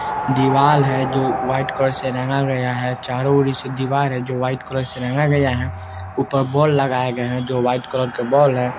दिवाल है जो व्हाइट कलर से रंगा गया है चारों ओर से दिवाल है जो व्हाइट कलर से रंगा गया है ऊपर बॉल लगाया गया है जो व्हाइट कलर के बोल है ।